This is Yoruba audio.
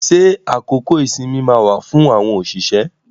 Ṣé àkókò ìsinmi máa wà fún àwọn òṣìṣẹ́?